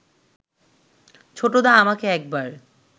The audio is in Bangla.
ছোটদা আমাকে একবার